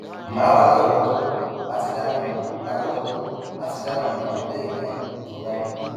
màá wà lárọọwọtó láti dáhùn lárọọwọtó láti dáhùn àwọn ìbéèrè mìíràn tó o bá ní